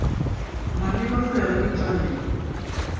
maleba go ya ka ditaelo